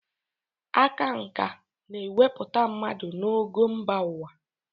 Aka nkà na-ewepụta mmadụ n'ogo mba ụwa.